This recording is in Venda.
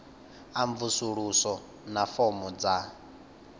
a mvusuludzo na fomo dza